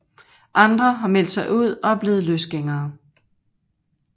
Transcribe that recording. Andre har meldt sig ud og er blevet løsgængere